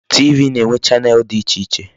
TV na-enwe channel dị iche iche.